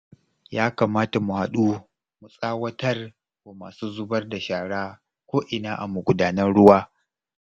Ya kamata mu haɗu mu tsawatar wa masu zubar da shara ko'ina a magudanan ruwa